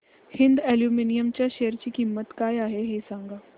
Hind aluminium च्या share ची किंमत काय आहे हे सांगा